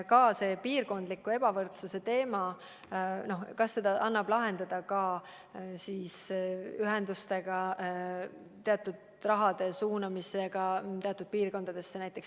Ka see piirkondliku ebavõrdsuse teema – kas seda annab lahendada ühenduste abil, teatud raha suunamisega teatud piirkondadesse?